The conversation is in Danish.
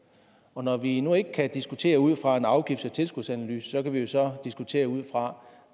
og når vi nu ikke kan diskutere ud fra en afgifts og tilskudsanalyse kan vi jo så diskutere ud fra